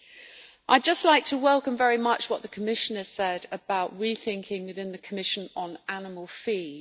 I would just like to welcome very much what the Commissioner said about rethinking within the Commission on animal feed.